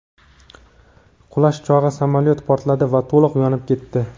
Qulash chog‘i samolyot portladi va to‘liq yonib ketdi.